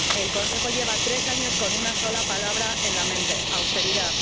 El Consejo lleva tres años con una sola palabra en la mente austeridad.